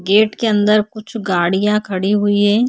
Gate के अंदर कुछ गाड़ियाँ खड़ी हुई है।